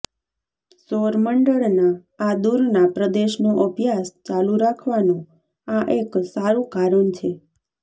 સૌર મંડળના આ દૂરના પ્રદેશનો અભ્યાસ ચાલુ રાખવાનો આ એક સારૂં કારણ છે